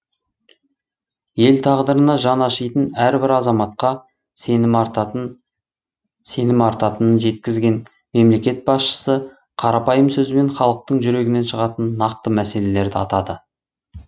ел тағдырына жаны ашитын әрбір азаматқа сенім артатынын жеткізген мемлекет басшысы қарапайым сөзбен халықтың жүрегінен шығатын нақты мәселелерді атады